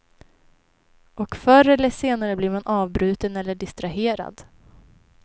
Och förr eller senare blir man avbruten eller distraherad.